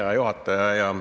Hea juhataja!